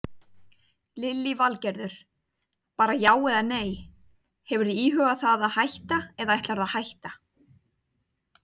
Lillý Valgerður: Bara já eða nei, hefurðu íhugað það að hætta eða ætlarðu að hætta?